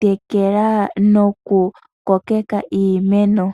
tekela noku kokeka iimeno.